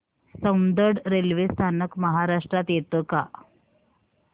Soundad railway स्थानक महाराष्ट्रात येतं का